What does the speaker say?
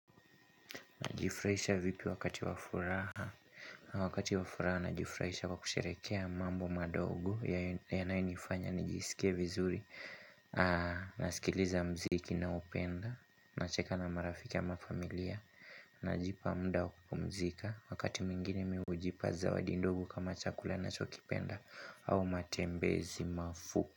Najifurahisha vipi wakati wafuraha, wakati wafuraha najifurahisha kwa kusherekea mambo madogo yanayo nifanya nijisike vizuri, nasikiliza muziki ninayoupenda, nacheka na marafikai ama familia, najipa muda wa kupumzika wakati mwingine mimi hujipa zawadi ndogo kama chakula na chokipenda au matembezi mafuku.